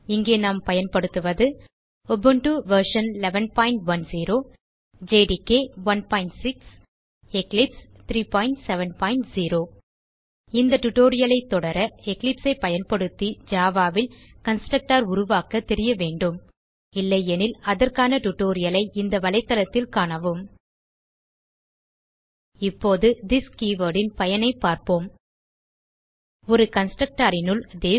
இங்கே நாம் பயன்படுத்துவது உபுண்டு வெர்ஷன் 1110 ஜேடிகே 16 எக்லிப்ஸ் 370 இந்த டியூட்டோரியல் ஐ தொடர எக்லிப்ஸ் ஐ பயன்படுத்தி ஜாவா ல் கன்ஸ்ட்ரக்டர் உருவாக்க தெரிய வேண்டும் இல்லையெனில் அதற்கான டியூட்டோரியல் ஐ இந்த தளத்தில் காணவும் httpwwwspoken tutorialஆர்க் இப்போது திஸ் கே வோர்ட் ன் பயனைப் பார்ப்போம் ஒரு constructorனுள் திஸ்